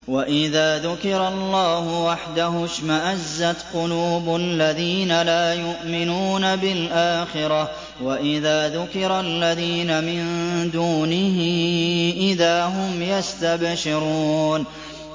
وَإِذَا ذُكِرَ اللَّهُ وَحْدَهُ اشْمَأَزَّتْ قُلُوبُ الَّذِينَ لَا يُؤْمِنُونَ بِالْآخِرَةِ ۖ وَإِذَا ذُكِرَ الَّذِينَ مِن دُونِهِ إِذَا هُمْ يَسْتَبْشِرُونَ